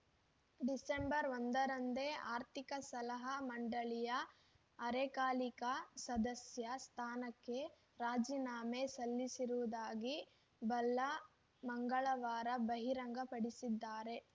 December ಒಂದರಂದೇ ಆರ್ಥಿಕ ಸಲಹಾ ಮಂಡಳಿಯ ಅರೆಕಾಲಿಕ ಸದಸ್ಯ ಸ್ಥಾನಕ್ಕೆ ರಾಜೀನಾಮೆ ಸಲ್ಲಿಸಿರುವುದಾಗಿ ಭಲ್ಲಾ ಮಂಗಳವಾರ ಬಹಿರಂಗಪಡಿಸಿದ್ದಾರೆ